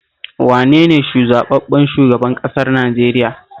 Wane ne zaɓaɓɓen shugaban ƙasar Najeriya?